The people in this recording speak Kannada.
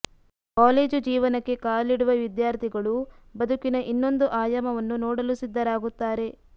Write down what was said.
ಕಾಲೇಜು ಜೀವನಕ್ಕೆ ಕಾಲಿಡುವ ವಿದ್ಯಾರ್ಥಿಗಳು ಬದುಕಿನ ಇನ್ನೊಂದು ಆಯಾಮವನ್ನು ನೋಡಲು ಸಿದ್ಧರಾಗುತ್ತಾರೆ